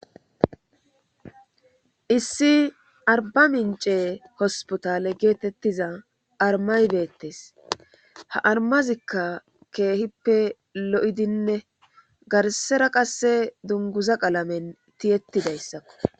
Issi arba micce hospital getetiza armay betes ha armazika kehippe lo'idine garsara qase dunguza qalamen tiyetidaysakko